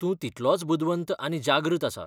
तूं तितलोच बुदवंत आनी जागृत आसा.